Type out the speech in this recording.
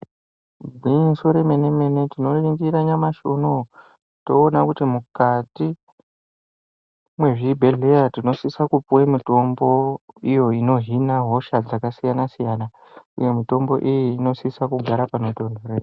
Gwinyiso remene-mene tinoringira nyamashi unowu toona kuti mukati mwezvibhehleya tinosisa kupuwe mitombo iyo inohina hosha dzakasiyana-siyana uye mitombo iyi inosisa kugara panotontorera.